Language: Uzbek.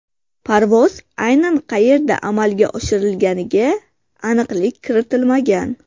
Parvoz aynan qayerda amalga oshirilganiga aniqlik kiritilmagan.